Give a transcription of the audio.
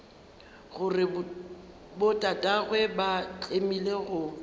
gore botatagwe ba tlemile go